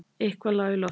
Eitthvað lá í loftinu.